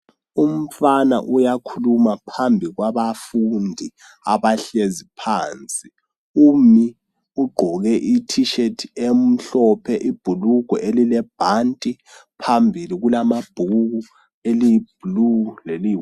Umfana uyakhuluma phambi kwabafundi abahlezi phansi, umi ugqoke i"tshirt" emhlophe ibhulugwe elilebhanti phambili kulamabhuku eliyi"blue" leli.